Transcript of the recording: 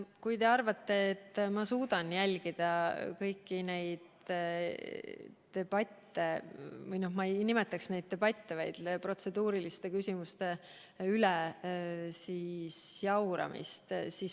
Kui te arvate, et ma suudan jälgida kõiki neid debatte või protseduuriliste küsimuste üle jauramist – ma ei nimetakski neid debattideks –, siis.